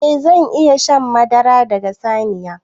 Eh zan iya shan madara daga saniya.